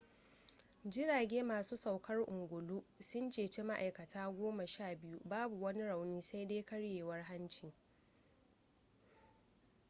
jirage masu saukar ungulu sun ceci ma'aikata goma sha biyu babu wani rauni sai dai karyewar hanci